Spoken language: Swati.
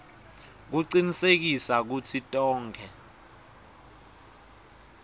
kucinisekisa kutsi tonkhe